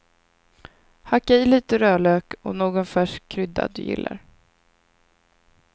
Hacka i lite rödlök och någon färsk krydda du gillar.